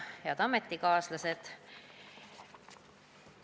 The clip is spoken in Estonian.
Head ametikaaslased!